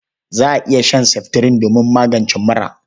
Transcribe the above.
Za a iya shan seftirin domin magance mura..